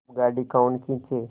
अब गाड़ी कौन खींचे